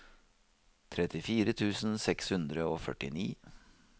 trettifire tusen seks hundre og førtini